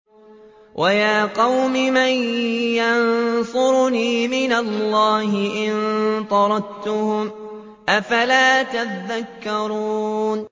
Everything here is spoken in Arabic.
وَيَا قَوْمِ مَن يَنصُرُنِي مِنَ اللَّهِ إِن طَرَدتُّهُمْ ۚ أَفَلَا تَذَكَّرُونَ